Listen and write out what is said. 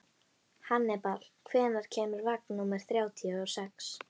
Hannibal, hvenær kemur vagn númer þrjátíu og sex?